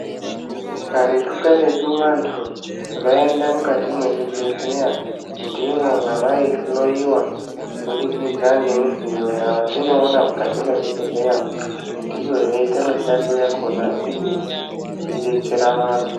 Karetu-karetu, vantu vaienda mukati mezvibhedhlera, ndimo mavaihloyiwa kubudikidza ngemidziyo yatinoona mukati mezvibhedhlera. Ndiyo yaiita mishando yakhona iyi, ichidetsera vantu.